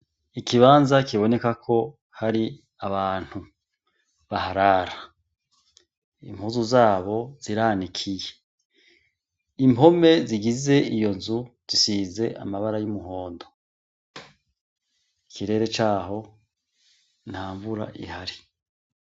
Ikibanza kibonekako hari abantu baharara, impuzu zabo ziranikiye, impome zigize iyo nzu zisize amabara y’umuhondo. Ikirere caho ntanvura ihari.